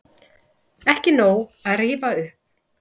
Ekki nóg að rífa upp